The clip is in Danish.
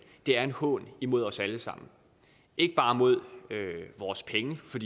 det er en hån imod os alle sammen ikke bare mod vores penge for